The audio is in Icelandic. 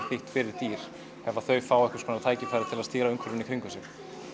þýtt fyrir dýr ef þau fá tækifæri til að stýra umhverfinu í kringum sig